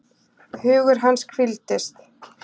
Hugur hans hvíldist.